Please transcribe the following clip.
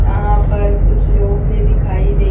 यहां पर कुछ लोग भी दिखाई दे--